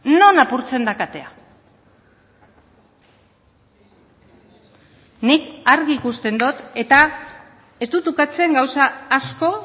non apurtzen da katea nik argi ikusten dut eta ez dut ukatzen gauza asko